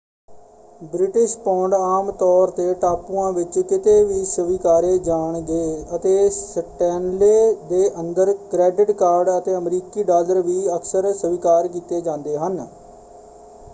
British pound ਆਮ ਤੌਰ ਤੇ ਟਾਪੂਆਂ ਵਿੱਚ ਕਿਤੇ ਵੀ ਸਵੀਕਾਰੇ ਜਾਣਗੇ ਅਤੇ ਸਟੈਨਲੇ ਦੇ ਅੰਦਰ ਕ੍ਰੈਡਿਟ ਕਾਰਡ ਅਤੇ ਅਮਰੀਕੀ ਡਾਲਰ ਵੀ ਅਕਸਰ ਸਵੀਕਾਰ ਕੀਤੇ ਜਾਂਦੇ ਹਨ।